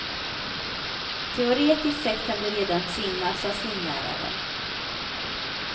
Teoretiskt sett kan du redan simma, sa simläraren.